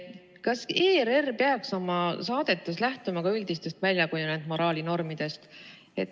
Kas ERR peaks oma saadetes lähtuma ka üldistest väljakujunenud moraalinormidest?